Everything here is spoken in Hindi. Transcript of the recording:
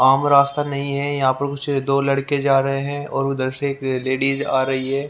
आम रास्ता नहीं है यहां पर कुछ दो लड़के जा रहे हैं और उधर से एक लेडिज आ रही है।